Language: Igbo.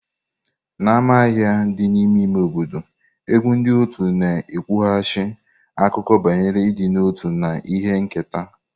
N'ámá ahịa dị n'ime ime obodo, egwu ndi uto na-ekwughachi akụkọ banyere ịdị n'otu na ihe nketa.